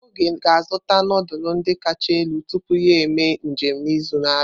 Oge ga-azụta nudulu ndi kacha elu tupu ya eme njem n'izu na-abịa.